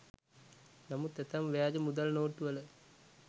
නමුත් ඇතැම් ව්‍යාජ මුදල් නෝට්ටුවල